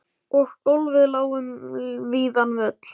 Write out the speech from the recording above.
Og gólfið lá um víðan völl.